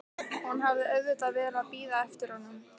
Hún hafði auðvitað verið að bíða eftir honum.